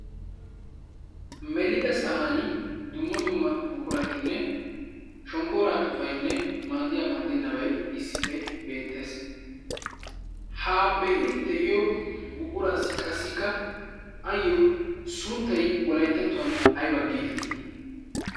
melida sa'an dumma dumma buquratinne shonggooraa xufainne maaddiyaa maaddinnabai issippe beettees. ha be'iidi de'iyo buquras qasikka ayyo sunttay wolayttattuwan ayba geetettii?